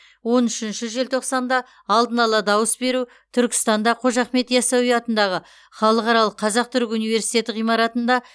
он үшінші желтоқсанда алдын ала дауыс беру түркістанда қожа ахмет ясауи атындағы халықаралық қазақ түрік университеті ғимаратында